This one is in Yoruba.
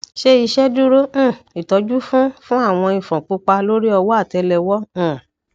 ṣe iṣeduro um itọju fun fun awọn ifon pupa lori ọwọ àtẹlẹwọ um